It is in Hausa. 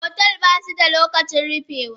Otel basuda lokacin rufewa.